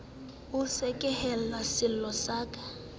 o sekehele sello sa ka